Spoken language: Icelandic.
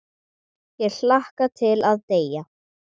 Ég hlakka til að deyja.